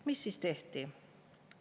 Mis on siis tehtud?